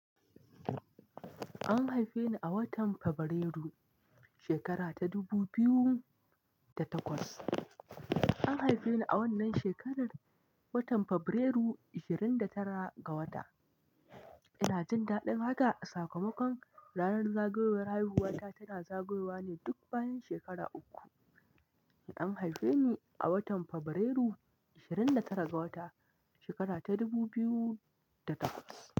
An haife ni a watan Fabrairu, shekara ta dubu biyu da takwas. An haife ni a wannan shekarar, watan Fabrairu, ashirin da tara ga wata. Ina jin daɗin haka a sakamakon ranar zagayowar haihuwata tana zagayowa ne duk bayan shekara uku. An haife ni a watan Fabrairu, ashirin da tara ga wata, shekara ta dubu biyu da takwas.